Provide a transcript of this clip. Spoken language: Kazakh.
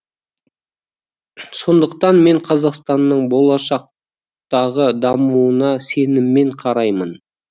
сондықтан мен қазақстанның болашақтағы дамуына сеніммен қараймын